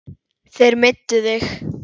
Þeir meiddu þig.